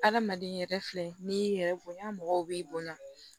Adamaden yɛrɛ filɛ ni y'i yɛrɛ bonya mɔgɔw b'i bonya